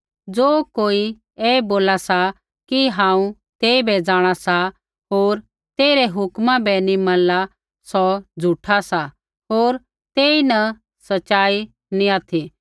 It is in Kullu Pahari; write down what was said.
ज़ो कोई ऐ बोला सा कि हांऊँ तेइबै जाँणा सा होर तेइरी हुक्म बै नी मनला सौ झ़ूठा सा होर तेईन सच़ाई नी ऑथि